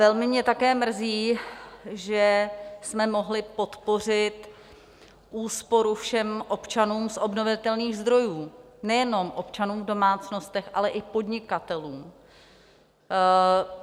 Velmi mě také mrzí, že jsme mohli podpořit úsporu všem občanům z obnovitelných zdrojů, nejenom občanů v domácnostech, ale i podnikatelům.